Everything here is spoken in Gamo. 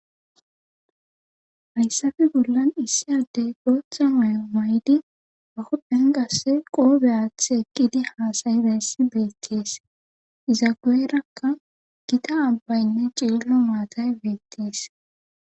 Hayssafe bollan issi addey bootha mayo mayidi ba huphen qassi qoobe aathi eqqidi haasa7idayssa beettees iza guyerakka gita abbaynne cililo maatay beettees.